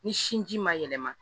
Ni sinji ma yɛlɛma